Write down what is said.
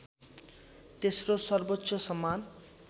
तेस्रो सर्वोच्च सम्मान